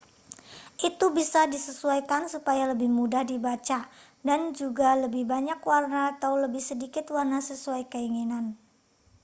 itu bisa disesuaikan supaya lebih mudah dibaca dan juga lebih banyak warna atau lebih sedikit warna sesuai keinginan